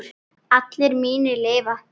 Allir mínir lifa.